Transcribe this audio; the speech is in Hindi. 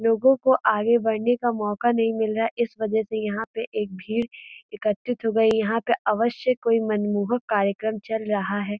लोगों को आगे बढ़ने का मौका नही मिल रहा है। इस वजह से यहाँ पे एक भीड़ एकत्रित हो गयी है। यहाँ पे अवश्य कोई मनमोहक कार्यक्रम चल रहा है।